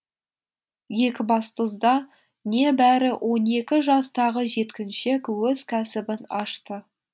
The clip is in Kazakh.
екібастұзда небәрі он екі жастағы жеткіншек өз кәсібін ашты